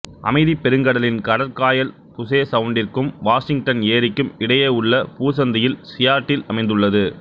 அமைதிப் பெருங்கடலின் கடற்காயல் புசே சவுண்டிற்கும் வாசிங்டன் ஏரிக்கும் இடையேயுள்ள பூசந்தியில் சியாட்டில் அமைந்துள்ளது